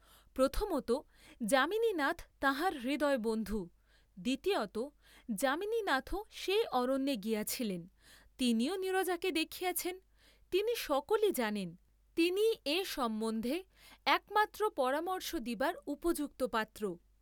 প্রথমতঃ যামিনীনাথ তাঁহার হৃদয়বন্ধু, দ্বিতীয়তঃ যামিনীনাথও সেই অরণ্যে গিয়াছিলেন, তিনিও নীরজাকে দেখিয়াছেন, তিনি সকলই জানেন, তিনিই এ সম্বন্ধে একমাত্র পরামর্শ দিবার উপযুক্ত পাত্র।